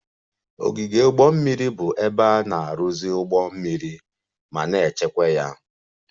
Ogige ụgbọ mmiri bụ ebe a na-arụzi ụgbọ mmiri ma na-echekwa ya